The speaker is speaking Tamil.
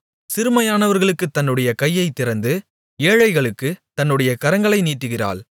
சிறுமையானவர்களுக்குத் தன்னுடைய கையைத் திறந்து ஏழைகளுக்குத் தன்னுடைய கரங்களை நீட்டுகிறாள்